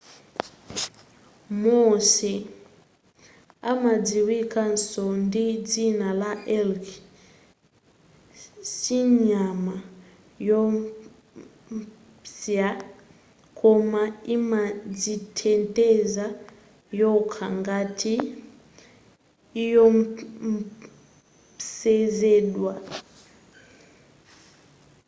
moose amadziwikanso ndi dzina la elk sinyama yoopsya koma imadziteteza yokha ngati iopsezedwa